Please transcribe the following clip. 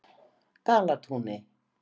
Dalatúni